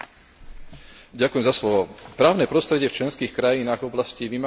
Právne prostredie v členských krajinách v oblasti vymáhania úhrad je rôzne.